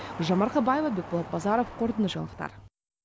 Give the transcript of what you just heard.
гүлжан марқабаева бекболат базаров қорытынды жаңалықтар